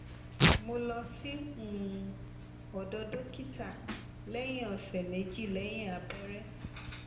mo lọ sí um ọdọ dókítà lẹyìn ọsẹ méjì lẹyìn abẹrẹ